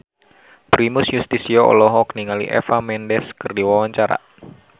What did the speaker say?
Primus Yustisio olohok ningali Eva Mendes keur diwawancara